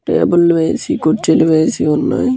Table వేసి కురుచి లు వేసి వున్నాయ్.